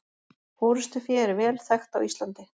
Forystufé er vel þekkt á Íslandi.